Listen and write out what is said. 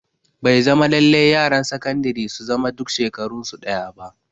Bai zama lallai yaran sakandire su zama duk shekarun su ɗaya ba